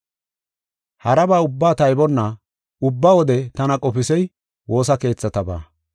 Haraba ubbaa taybonna ubba wode tana qofisey woosa keethatabaa.